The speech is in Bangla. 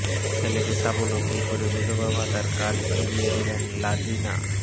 ছেলেকে স্বাবলম্বী করে বিধবা ভাতার কার্ড ফিরিয়ে দিলেন লাজিনা